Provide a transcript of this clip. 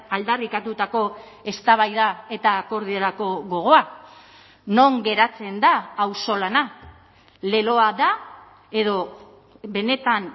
aldarrikatutako eztabaida eta akordiorako gogoa non geratzen da auzolana leloa da edo benetan